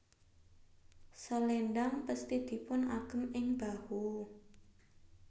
Selendhang pesthi dipun agem ing bahu